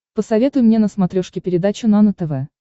посоветуй мне на смотрешке передачу нано тв